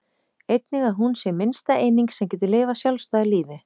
Einnig að hún sé minnsta eining sem getur lifað sjálfstæðu lífi.